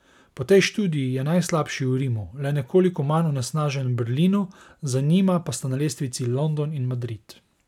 Po tej študiji je najslabši v Rimu, le nekoliko manj onesnažen v Berlinu, za njima pa sta na lestvici London in Madrid.